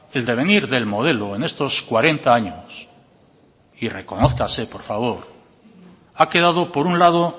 el devenir del modelo en estos cuarenta años y reconózcase por favor ha quedado por un lado